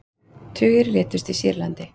Tugir létust í Sýrlandi